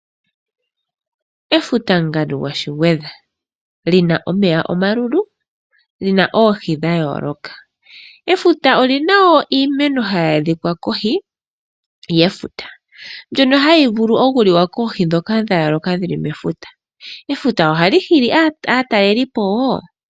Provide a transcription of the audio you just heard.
Efuta ngandu gwashigwedha li na omeya omalulu, li na oohi dha yoloka. Efuta olina wo iimeno hayi adhika kohi yefuta ndyono hayi vulu oku liwa koohi dhoka dha yoloka dhili mefuta. Efuta ohali hili aatalelipo wo.